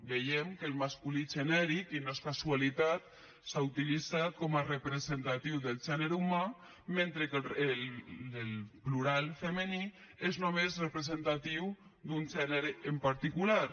veiem que el masculí genèric i no és casualitat s’ha utilitzat com a representatiu del gènere humà mentre que el plural femení és només representatiu d’un gènere en particular